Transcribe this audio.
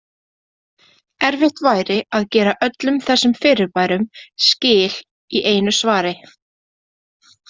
Erfitt væri að gera öllum þessum fyrirbærum skil í einu svari.